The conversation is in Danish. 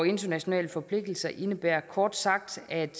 internationale forpligtelser indebærer kort sagt at